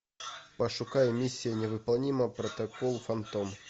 пошукай миссия невыполнима протокол фантом